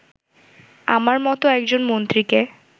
আমার মতো একজন মন্ত্রীকে